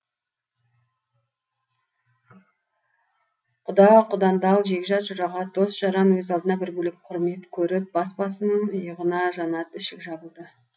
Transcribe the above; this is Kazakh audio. құда құдандал жекжат жұрағат дос жаран өз алдына бір бөлек құрмет көріп бас басының иығына жанат ішік жабылды